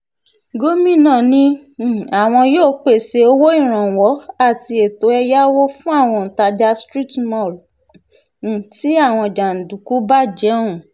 gomina ni um àwọn yóò pèsè owó ìrànwọ́ àti ètò ẹ̀yáwó fún àwọn òǹtajà street mall um tí àwọn jàǹdùkú bàjẹ́ ọ̀hún